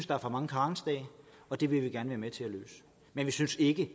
der er for mange karensdage det vil vi gerne være med til at løse men vi synes ikke at